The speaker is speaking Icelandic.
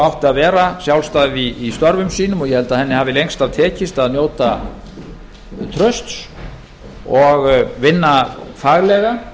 að vera sjálfstæð í störfum sínum og ég held að henni hafi lengst af tekist að njóta trausts og vinna faglega